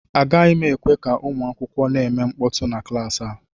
Agaghị m ekwe ka ụmụ akwụkwọ na-eme mkpọtụ na klaasị a